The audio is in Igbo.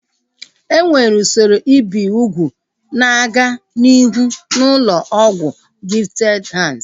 Enwere usoro ibi ugwu na-aga n'ihu n'ụlọ ọgwụ Gifted Hands